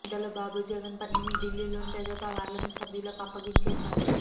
ఇంతలో బాబు జగన్ పనిని ఢిల్లీలోని తెదేపా పార్లమెంటు సభ్యులకు అప్పగించేశారు